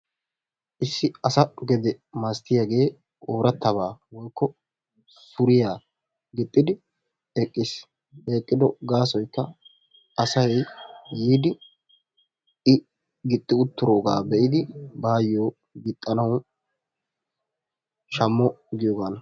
Issi asa gedee milaatiyage oorattaba woykko sauuriya giixidi eqqiis. He eqqido gasoykka asay yidi i gixi uttidoga beidi bayo gixanawu shammo giyogana.